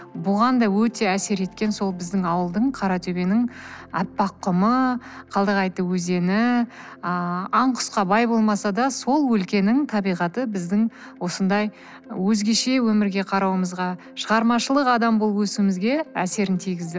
бұған да өте әсер еткен сол біздің ауылдың каратөбенің аппақ құмы өзені ыыы аң құсқа бай болмаса да сол өлкенің табиғаты біздің осындай өзгеше өмірге қарауымызға шығармашылық адам болып өсуімізге әсерін тигізді